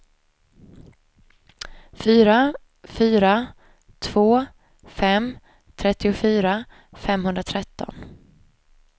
fyra fyra två fem trettiofyra femhundratretton